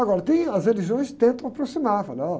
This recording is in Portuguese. Agora, tem, as religiões tentam aproximar, falam olha